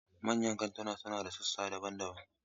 Manyan kantuna suna da sassa daban-daban.